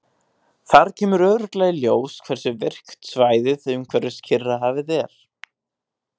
Þar kemur glögglega í ljós hversu virkt svæðið umhverfis Kyrrahafið er.